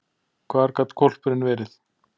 Hvar gat hvolpurinn verið?